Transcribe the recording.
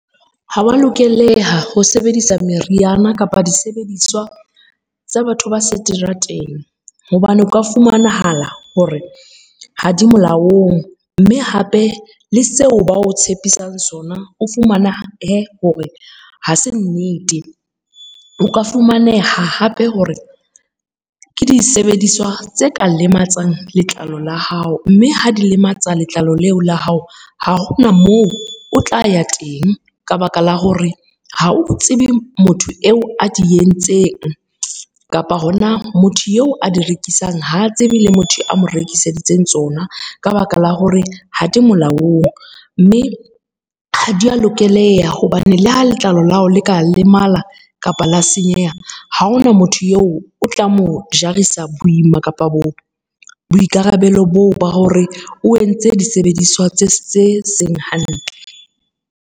Ha wa lokeleha ho sebedisa meriana kapa disebediswa tsa batho ba seterateng. Hobane o ka fumanahala hore ha di molaong mme hape le seo ba o tshepisang sona, o fumana hore ha se nnete. O ka fumaneha hape hore ke disebediswa tse ka lematsang letlalo la hao, mme ha di lematsa letlalo leo la hao, ha hona moo o tla ya teng ka baka la hore ha o tsebe motho eo a di entseng, kapa hona motho eo a di rekisang ha tsebe le motho a mo rekiseditseng tsona, ka baka la hore ha di molaong. Mme ha di a lokeleha hobane le ha letlalo la hao le ka lemala kapa la senyeha, ha hona motho eo o tla mo jarisa boima kapa boikarabelo boo ba hore o entse disebediswa tse se seng hantle.